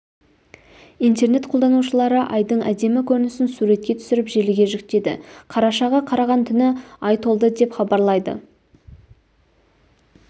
интернет қолданушылары айдың әдемі көрінісін суретке түсіріп желіге жүктеді қарашаға қараған түні ай толды деп хабарлайды